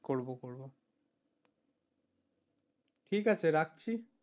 ঠিক আছে রাখছি।